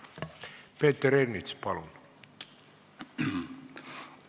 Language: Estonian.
Peeter Ernits, palun!